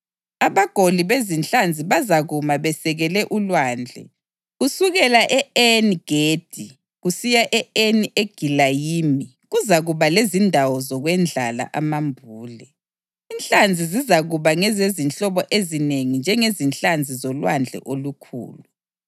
Abagoli bezinhlanzi bazakuma besekele ulwandle; kusukela e-Eni-Gedi kusiya e-Eni Egilayimi kuzakuba lezindawo zokwendlala amambule. Inhlanzi zizakuba ngezezinhlobo ezinengi njengenhlanzi zoLwandle olukhulu.